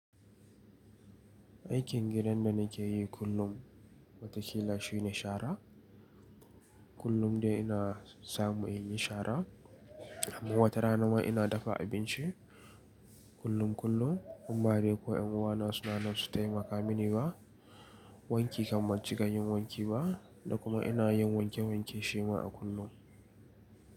Aikin gidan da nake yi kullum, wataƙila shine shara. Kullum dai ina samu in yi shara. Amma wata rana ma ina dafa abinci kullum kullum. In ba dai ko ƴan uwana suna nan su taimaka mini ba. Wanki kam ban cika yin wanki ba, da kuma ina yin wanke wanke shi ma a kullum.